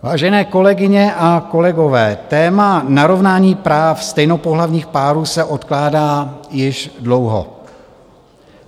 Vážené kolegyně a kolegové, téma narovnání práv stejnopohlavních párů se odkládá již dlouho.